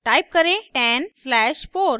type करें 10 slash 4